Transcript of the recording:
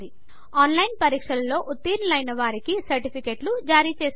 on line test లో ఉత్తీర్ణులు అయిన వారికి సర్టిఫికెట్లు జారిచేస్తుంది